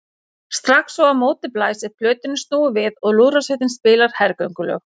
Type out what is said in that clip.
Strax og á móti blæs er plötunni snúið við og lúðrasveitin spilar hergöngulög.